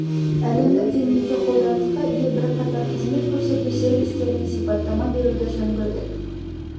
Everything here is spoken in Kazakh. әлемдік деңгейде қолданысқа ие бірқатар қызмет көрсету сервистеріне сипаттама беруді жөн көрдік